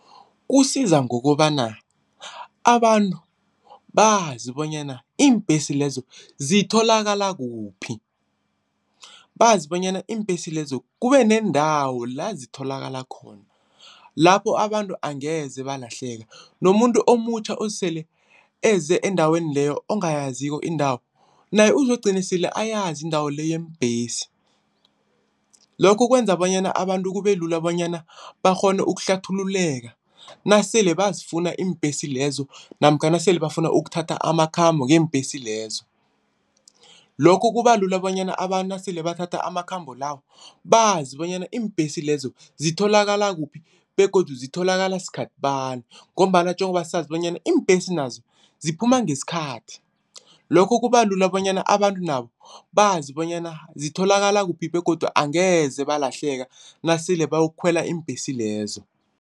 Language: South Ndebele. Kusiza ngokobana abantu bazi bonyana iimbhesi lezo zitholakala kuphi. Bazi bonyana iimbhesi lezo kube neendawo la zitholakala khona, lapho abantu angeze balahleke nomuntu omutjha osele eze endaweni leyo ongayaziko indawo, naye uzokugcine sele ayazi indawo le yeembhesi. Lokho kwenza bonyana abantu kube lula bonyana bakghone ukuhlathululeka nasele bazifuna iimbhesi lezo namkha nasele bafuna ukuthatha amakhambo ngeembhesi lezo. Lokho kuba lula bonyana abantu nasele bathatha amakhambo lawo bazi bonyana iimbhesi lezo zitholakala kuphi begodu zitholakala sikhathi bani ngombana njengoba sazi bonyana iimbhesi nazo, ziphuma ngesikhathi. Lokho kuba lula bonyana abantu nabo bazi bonyana zitholakala kuphi begodu angeze balahleka nasele bayokukhwela iimbhesi lezo.